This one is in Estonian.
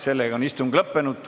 Sellega on istung lõppenud.